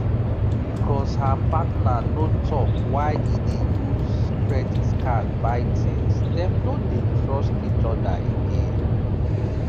because her partner no talk why e dey use credit card buy things dem no dey trust each other again